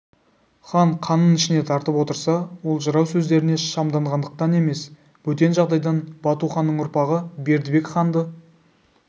хан қанын ішіне тартып отырса ол жырау сөздеріне шамданғандықтан емес бөтен жағдайдан батуханның ұрпағы бердібек ханды